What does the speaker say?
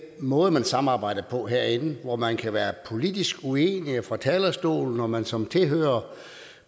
måde man samarbejder på herinde hvor man kan være politisk uenige fra talerstolen og at man som tilhører